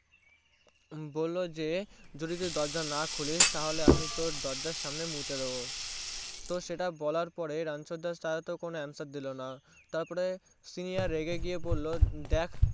বললো যে যদি সে দরজা না খোলে তাহলে আমি তোর দরজার সামনে মুতে দেব তো সেটা বলার পরে রানচ্ছর দাস তো কোনো Answer দিলোনা তারপর Senior রেগে গিয়ে বললো দেখ